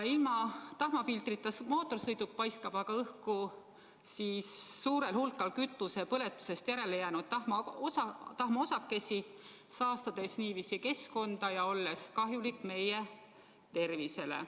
Ilma tahmafiltrita mootorsõiduk paiskab õhku suurel hulgal kütuse põletamisest järelejäänud tahmaosakesi, saastades keskkonda ja olles kahjulik meie tervisele.